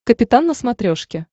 капитан на смотрешке